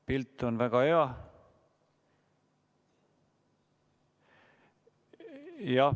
Pilt on väga hea.